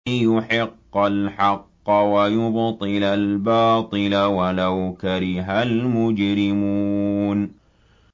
لِيُحِقَّ الْحَقَّ وَيُبْطِلَ الْبَاطِلَ وَلَوْ كَرِهَ الْمُجْرِمُونَ